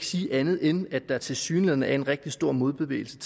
sige andet end at der tilsyneladende var en rigtig stor modbevægelse